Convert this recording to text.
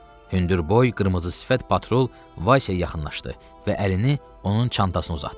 Hündürboy, qırmızı sifət patrul Vaysiyə yaxınlaşdı və əlini onun çantasına uzatdı.